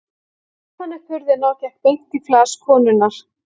Svo reif hann upp hurðina og gekk beint í flas konunnar.